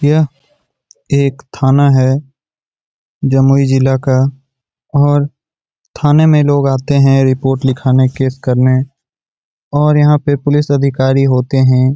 यह एक थाना है जमुई जिला का और थाने में लोग आते हैं रिपोर्ट लिखाने केस करने और यहाँ पे पुलिस अधिकारी होते हैं।